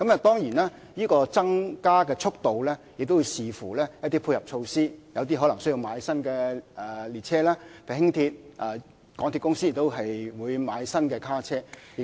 當然，增加的速度亦視乎一些配合措施，可能需要購買新的列車，例如輕鐵車輛，港鐵公司亦會購買新的車卡。